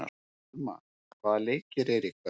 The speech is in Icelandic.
Thelma, hvaða leikir eru í kvöld?